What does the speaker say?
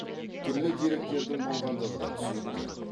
түрлі деректердің болғандығы да түсінікті